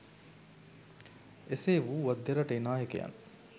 එසේ වුවත් දෙරටේ නායකයන්